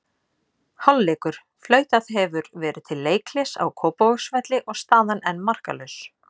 Hálfleikur: Flautað hefur verið til leikhlés á Kópavogsvelli og staðan enn markalaus.